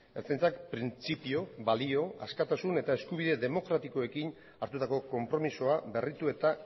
ertzaintzak printzipio balio askatasun eta eskubide demokratikoekin hartutako konpromisoa berritu eta